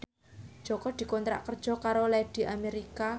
Jaka dikontrak kerja karo Lady America